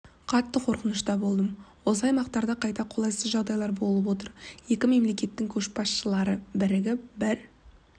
қатты қорқынышта болдым осы аймақтарда қайта қолайсыз жағдайлар болып отыр екі мемлекеттің көшбасшылары бірігіп бір